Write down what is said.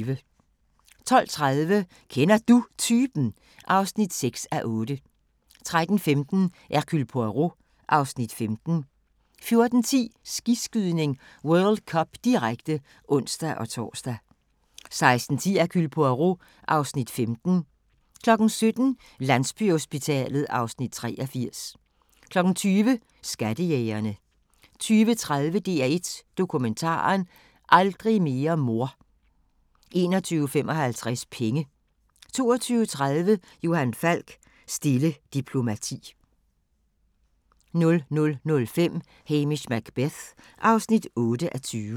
12:30: Kender Du Typen? (6:8) 13:15: Hercule Poirot (Afs. 15) 14:10: Skiskydning: World Cup, direkte (ons-tor) 16:10: Hercule Poirot (Afs. 15) 17:00: Landsbyhospitalet (Afs. 83) 20:00: Skattejægerne 20:30: DR1 Dokumentaren: Aldrig mere mor 21:55: Penge 22:30: Johan Falk: Stille diplomati 00:05: Hamish Macbeth (8:20)